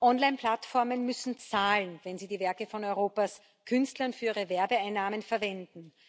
Online Plattformen müssen zahlen, wenn sie die Werke von Europas Künstlern für ihre Werbeeinnahmen verwenden.